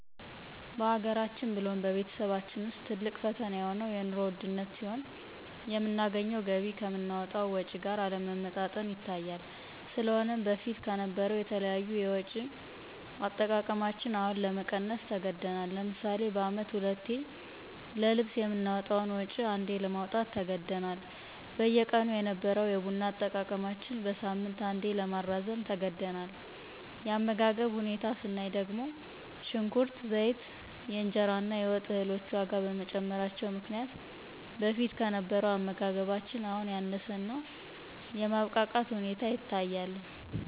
በሀገራችን ብሎም በቤተሰባችን ውስጥ ትልቅ ፈተና የሆነው የንሮ ውድነት ሲሆን የምናገኘው ገቢ ከምናወጣው ወጭ ጋር አለመመጣጠን ይታያል። ስለሆነም በፊት ከነበረው የተለያዩ የወጭ አጠቃቀማችን አሁን ለመቀነስ ተገዳል። ለምሳሌ በአመት ሁለቴ ለልብስ የምናወጣውን ወጭ አንዴ ለማውጣት ተገደናል። በየቀኑ የነበረው የቡና አጠቃቀማችን በሳምንት አንዴ ለማራዘም ተገደናል። የአመጋገብ ሁኔታችን ስናይ ደግሞ ሽንኩርት፣ ዘይት፣ የእንጀራ እና የወጥ እህሎች ዋጋ በመጨመራቸው ምክንያት በፊት ከነበረው አመጋገባችን አሁን ያነሰ እና የማብቃቃት ሁኔታ ይታያል።